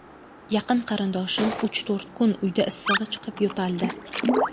Yaqin qarindoshim uch-to‘rt kun uyda issig‘i chiqib, yo‘taldi.